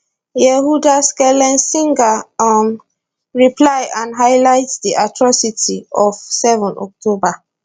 yehuda schlesinger um reply and highlight di atrocities of seven october